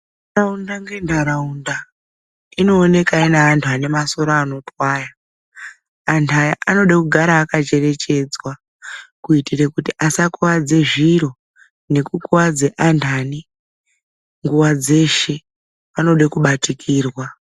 Ntaraunda ngentaraunda, inooneka ine antu anemasoro anotwaya. Antu aya anoda kugara akacherechedzwa kuitire kuti asakuvadze zviro nekukuadze antani. Nguva dzeshe anode kubatikirwa.